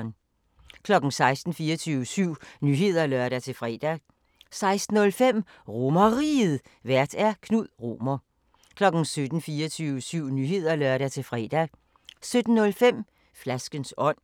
16:00: 24syv Nyheder (lør-fre) 16:05: RomerRiget, Vært: Knud Romer 17:00: 24syv Nyheder (lør-fre) 17:05: Flaskens ånd